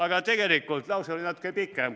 Aga tegelikult oli lause natuke pikem.